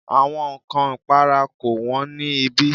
Àwọn ǹkọ ìpara kò wón ní ibí.